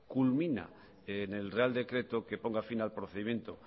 culmina en el real decreto que ponga fin al procedimiento